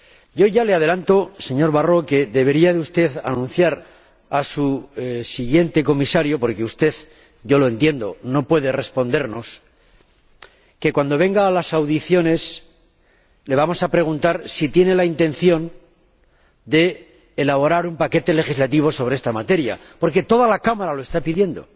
Yo ya le adelanto, señor Barrot, que usted debería anunciar a su sucesor, porque usted yo lo entiendo no puede respondernos, que, cuando venga a las audiencias, le vamos a preguntar si tiene la intención de elaborar un paquete legislativo sobre esta materia, porque toda la Cámara lo está pidiendo